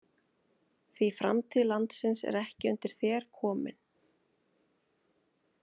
Því framtíð landsins er ekki undir þér komin.